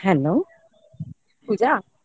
hello Puja